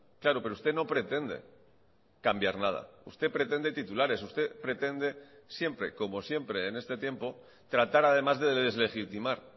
claro pero usted no pretende cambiar nada usted pretende titulares usted pretende siempre como siempre en este tiempo tratar además de deslegitimar